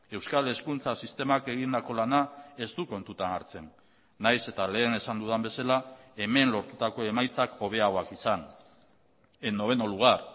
euskal hezkuntza sistemak egindako lana ez du kontutan hartzen nahiz eta lehen esan dudan bezala hemen lortutako emaitzak hobeagoak izan en noveno lugar